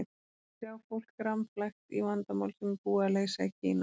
Sjá fólk rammflækt í vandamál sem var BÚIÐ AÐ LEYSA í Kína.